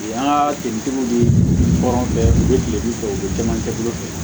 An ka sigitigiw bɛ kɔrɔn fɛ u bɛ kiritigiw fɛ u bɛ caman kɛ cogo fɛ